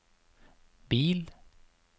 bil